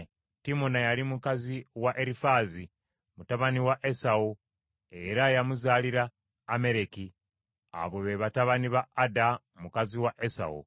Timuna yali mukazi wa Erifaazi, mutabani wa Esawu era yamuzaalira Ameleki. Abo be batabani ba Ada mukazi wa Esawu.